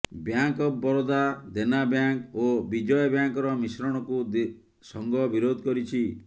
bank of Baroda Dena bank ଓ ବିଜୟା ବ୍ୟାଙ୍କର ମିଶ୍ରଣକୁ ସଂଘ ବିରୋଧ କରିଛି